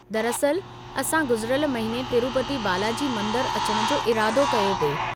दरअसलि, असां गुज़िरियल महीने तिरूपति बालाजी मंदरु अचण जो इरादो कयो पिए।